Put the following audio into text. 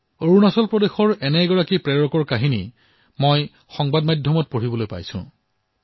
অৰুণাচল প্ৰদেশৰ এনে এক অনুপ্ৰেৰণাদায়ী কাহিনী মই সংবাদ মাধ্যমত পঢ়িবলৈ পালো